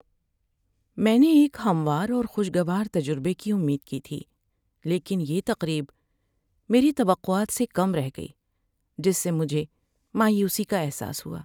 میں نے ایک ہموار اور خوشگوار تجربے کی امید کی تھی، لیکن یہ تقریب میری توقعات سے کم رہ گئی، جس سے مجھے مایوسی کا احساس ہوا۔